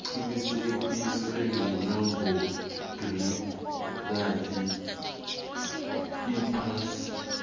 kuqinisekiswe yilabhorathri iphasi